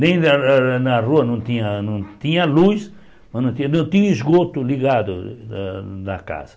Nem na na na na rua, não tinha tinha luz, mas não tinha não tinha o esgoto ligado da da casa.